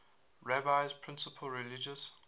rabbi's principal religious